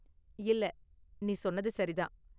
இல்ல, நீ சொன்னது சரி தான்.